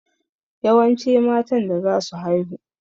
Yawance matan da zasu haihu.